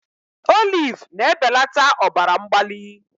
Olive na-ebelata ọbara mgbali